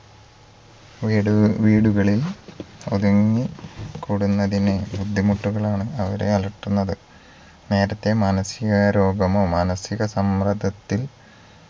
വീടുക വീടുകളിൽ ഒതുങ്ങി കൂടുന്നതിനെ ബുദ്ധിമുട്ടുകളാണ് അവരെ അലട്ടുന്നത് നേരത്തെ മാനസികരോഗമോ മാനസിക സമ്മർദ്ദത്തിൽ